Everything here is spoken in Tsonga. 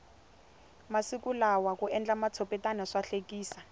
masiku lawa ku endla matshopetana swahlekisa